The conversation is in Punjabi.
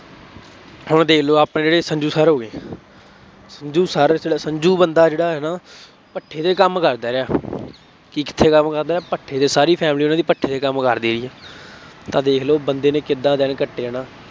ਹੁਣ ਦੇਖ ਲਉ ਆਪਣੇ ਜਿਹੜੇ ਸੰਜ਼ੂ sir ਹੋ ਗਏ। ਸੰਜ਼ੂ sir ਜਿਹੜਾ ਸੰਜ਼ੂ ਬੰਦਾ ਜਿਹੜਾ ਹੈ ਨਾ ਭੱਠੇ ਤੇ ਕੰਮ ਕਰਦਾ ਰਿਹਾ, ਕਿੱਥੇ ਕੰਮ ਕਰਦਾ ਰਿਹਾ, ਭੱਠੇ ਤੇ ਸਾਰੀ family ਉਹਨਾ ਦੀ ਭੱਠੇ ਤੇ ਕੰਮ ਕਰਦੀ ਸੀ। ਤਾਂ ਦੇਖ ਲਉ ਬੰਦੇ ਨੇ ਕਿਦਾਂ ਦਿਨ ਕੱਟੇੇ ਆ।